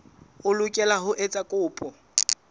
o lokela ho etsa kopo